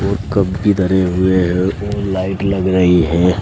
और कप भी धरे हुए हैं और लाइट लग रही हैं।